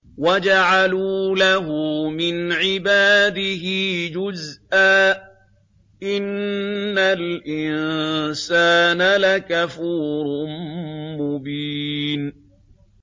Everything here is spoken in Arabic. وَجَعَلُوا لَهُ مِنْ عِبَادِهِ جُزْءًا ۚ إِنَّ الْإِنسَانَ لَكَفُورٌ مُّبِينٌ